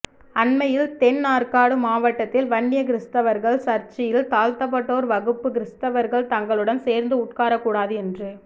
அண்மையில் தென் ஆர்க்காடு மாவட்டத்தில் வன்னிய கிறிஸ்தவர்கள் சர்ச்சில் தாழ்த்தப்பட்டோர் வகுப்பு கிறிஸ்தவர்கள் தங்களுடன் சேர்ந்து உட்காரக் கூடாது என்று